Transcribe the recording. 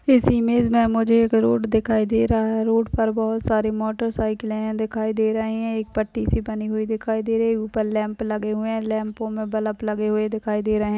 इस इमेज मे मुझे एक रोड दिखाई दे रहा है रोड पर बहुत सारे मोटर साईकले दिखाई दे रही है एक पट्टी सी बनी हुई दिखाई दे रही है। ऊपर लैम्प लगे हुए है लेम्पो मे बल्ब लगे हुए दिखाई दे रहे।